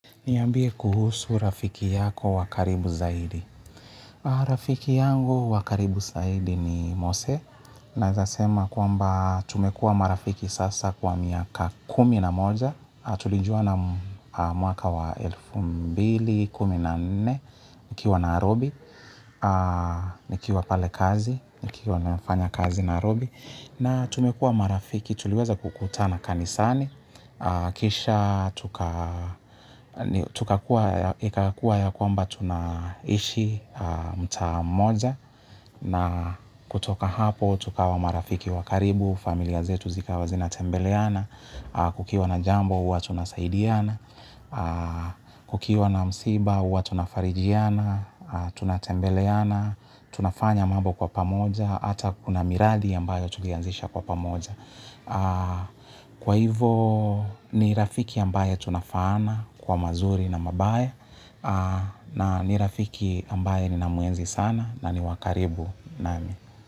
Niambie kuhusu rafiki yako wa karibu zaidi. Rafiki yangu wa karibu zaidi ni Mose. Naweza sema kwamba tumekua marafiki sasa kwa miaka kumi na moja. Tulijuana mwaka wa elfu mbili na kumi na nne, nikiwa nairobi, nikiwa pale kazi, nikiwa nafanya kazi nairobi. Na tumekuwa marafiki tuliweza kukutana kanisani. Kisha tukakua ya kwamba tunaishi mtaa mmoja na kutoka hapo tukawa marafiki wakaribu, familia zetu zikawa zinatembeleana. Kukiwa na jambo huwa tunasaidiana. Kukiwa na msiba uwa tunafarijiana. Tunatembeleana. Tunafanya mambo kwa pamoja hata kuna miradi ambayo tulianzisha kwa pamoja. Kwa hivo ni rafiki ambaye tunafaana kwa mazuri na mabaya. Na ni rafiki ambaye ninamuenzi sana na ni wakaribu nami.